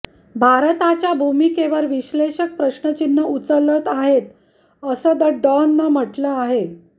भारताच्या भूमिकेवर विश्लेषक प्रश्नचिन्ह उचलत आहेत असं द डॉन नं म्हटलं आहे